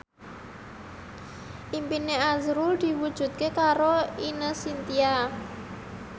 impine azrul diwujudke karo Ine Shintya